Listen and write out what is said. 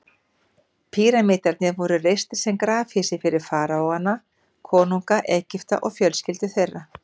Píramídarnir voru reistir sem grafhýsi fyrir faraóana, konunga Egypta, og fjölskyldur þeirra.